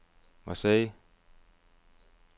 Marseille